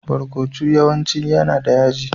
Barkonu yawanci yana da yaji.